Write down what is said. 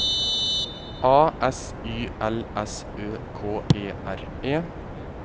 A S Y L S Ø K E R E